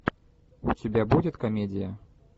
у тебя будет комедия